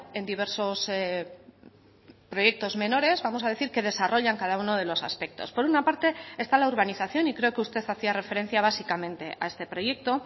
en diversos proyectos menores vamos a decir que desarrollan cada uno de los aspectos por una parte está la urbanización y creo que usted hacía referencia básicamente a este proyecto